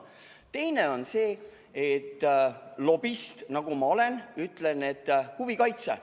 Teine on see, lobist nagu ma olen, huvide kaitse.